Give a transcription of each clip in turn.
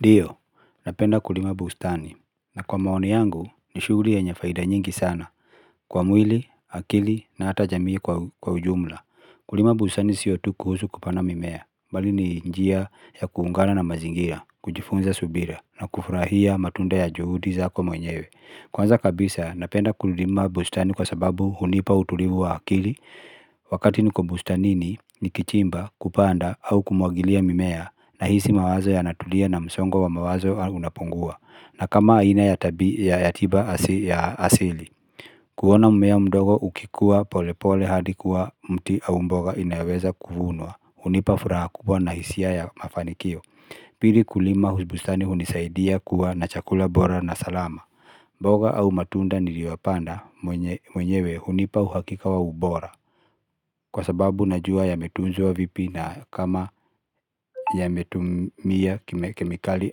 Ndiyo, napenda kulima bustani na kwa maoni yangu ni shughuli yenye faida nyingi sana kwa mwili, akili na hata jamii kwa ujumla. Kulima bustani siyo tu kuhusu kupanda mimea, bali ni njia ya kuungana na mazingira, kujifunza subira na kufurahia matunda ya juhudi zaako mwenyewe. Kwanza kabisa napenda kulima bustani kwa sababu hunipa utulivu wa akili Wakati niko bustani nikichimba kupanda au kumwagilia mimea Nahisi mawazo yanatulia na msongo wa mawazo unapungua na kama aina ya tiba asili kuona mmea mdogo ukikuwa pole pole hadi kuwa mti au mboga inaweza kuvunwa hunipa furaha kubwa na hisia ya mafanikio Pili kulima bustani hunisaidia kuwa na chakula bora na salama Boga au matunda niliwapanda mwenyewe hunipa uhakika wa ubora Kwa sababu najua yametunzwa vipi na kama yametumia kemikali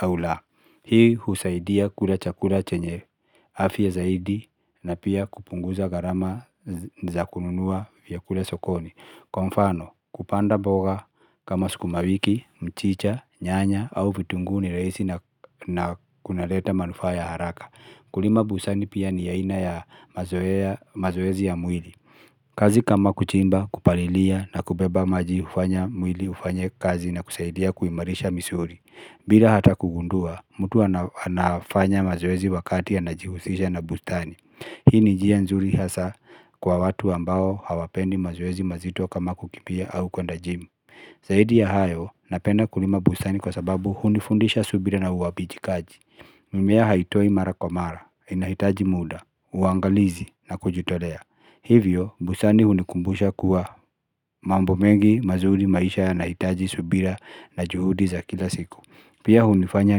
au la Hii husaidia kula chakula chenye afya zaidi na pia kupunguza gharama za kununua vyakula sokoni Kwa mfano kupanda mboga kama sukumawiki, mchicha, nyanya au vitunguu ni rahisi na kunaleta manufaa ya haraka Kulima bustani pia ni aina ya mazoezi ya mwili kazi kama kuchimba, kupalilia na kubeba maji hufanya mwili ufanye kazi na kusaidia kuimarisha misuli bila hata kugundua, mtu anafanya mazoezi wakati anajihusisha na bustani Hii ni njia nzuri hasa kwa watu ambao hawapendi mazoezi mazito kama kukimbia au kwenda jimu Zaidi ya hayo, napenda kulima bustani kwa sababu hundifundisha subira na uwajibikaji mimea haitoi mara kwa mara, inahitaji muda, uangalizi na kujutolea Hivyo, bustani hunikumbusha kuwa mambo mengi mazuri maisha yanahitaji subira na juhudi za kila siku Pia hunifanya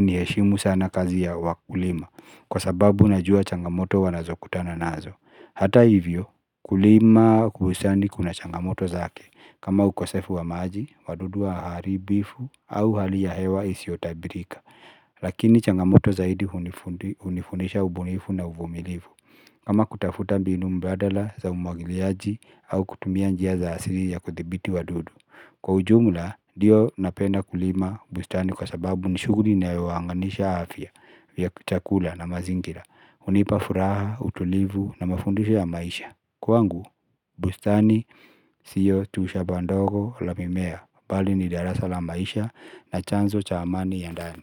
niheshimu sana kazi ya wakulima Kwa sababu najua changamoto wanazokutana nazo Hata hivyo, kulima hususani kuna changamoto zake kama ukosefu wa maji, wadudu waharibifu, au hali ya hewa isiyotabirika Lakini changamoto zaidi hunifundisha ubunifu na uvumilivu kama kutafuta mbinu mbadala za umwagiliaji au kutumia njia za asili ya kuthibiti wadudu Kwa ujumla ndiyo napenda kulima bustani kwa sababu ni shughuli inayounganisha chakula na mazingira hunipa furaha, utulivu na mafundisho ya maisha Kwangu, bustani siyo tu shamba ndogo la mimea Bali ni darasa la maisha na chanzo cha amani ya ndani.